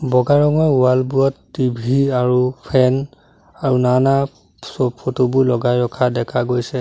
বগা ৰঙৰ ৱাল বোৰত টি_ভি আৰু ফেন আৰু নানা চ ফটো বোৰ লগাই ৰখা দেখা গৈছে।